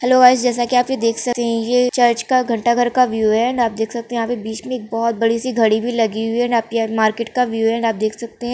Hello guys जेस की आप देख सकते है ये चर्च का घंटा घर का व्यूक है एण्ड आप देख सकते है यह पे बीच मे एक बहोत बड़ी सी घड़ी भी लागि हुई है एण्ड आपकी और मार्केट का व्यूक है एण्ड आप देख सकते है।